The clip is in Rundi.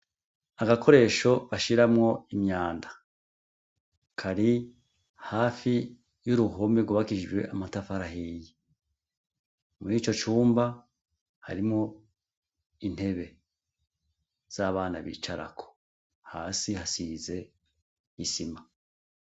Agakoresho bashiramwo imyanda. Kari hafi y'uruhome rwubakishijwe amatafari ahiye. Muri ico cumba, harimwo intebe z'abana bicarako. Hasi hasize isima.